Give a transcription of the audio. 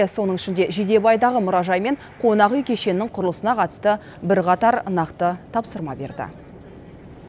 соның ішінде жидебайдағы мұражай мен қонақүй кешенінің құрылысына қатысты бірқатар нақты тапсырма берді